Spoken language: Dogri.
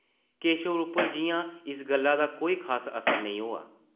केशव उप्पर जिʼयां इस गल्ला दा कोई खास असर नेईं होआ ।